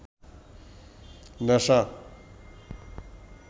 নেশা